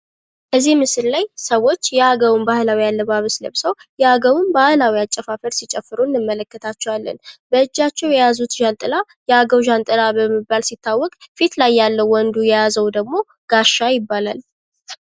እዚህ ምስል ላይ ስዎች የአገውን ባህላዊ አለባበስ ለበሰው የአገውን ባህላዊ አጨፋፈር ሲጨፍሩ እንመለከታቸዋለን። በእጃቸው የያዙት ዣንጥላ የአገው ዣንጥላ በመባል ሲታወቅ ፊት ላይ ያለው ወንዱ የያዘው ደግሞ ጋሻ ይባላል?